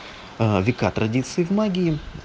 вика традиции в магии